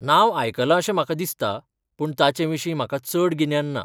नांव आयकलां अशें म्हाका दिसता, पूण ताचे विशीं म्हाका चड गिन्यान ना.